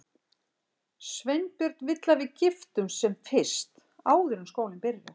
Sveinbjörn vill að við giftumst sem fyrst, áður en skólinn byrjar.